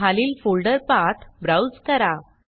खालील folder path browse करा